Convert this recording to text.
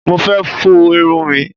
Mo fẹ́ fọ irun mi.